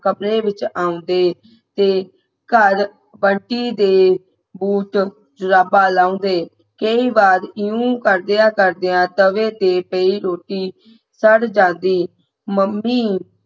ਕਮਰੇ ਵਿੱਚ ਆਉਂਦੇ ਤੇ ਘਰ ਬੰਟੀ ਦੇ ਬੂਟ ਜਰਾਬਾ ਲਾਉਦੇ ਕਈ ਵਾਰ ਇਵੇਂ ਕਰਦੇ ਕਰਦੇ ਤਵੇ ਤੇ ਪਈ ਰੋਟੀ ਸੜ ਜਾਂਦੀ ਮੰਮੀ